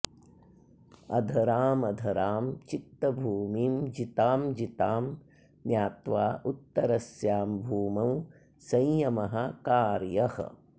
अधरामधरां चित्तभूमिं जितां जितां ज्ञात्वोत्तरस्यां भूमौ संयमः कार्यः